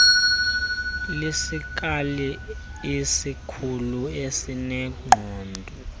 lesikali esikhulu esineqoga